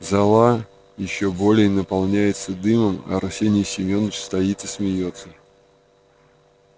зала ещё более наполняется дымом а арсений семёныч стоит и смеётся